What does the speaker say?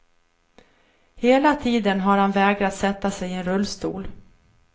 Hela tiden har han vägrat sätta sig i en rullstol.